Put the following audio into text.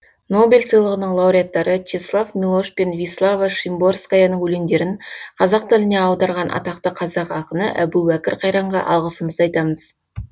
нобель сыйлығының лауреаттары чеслав милош пен вислава шимборскаяның өлеңдерін қазақ тіліне аударған атақты қазақ ақыны әбубәкір қайранға алғысымызды айтамыз